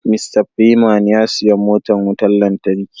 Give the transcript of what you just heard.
"Mr freeman " ya siya motan wutan lantarki.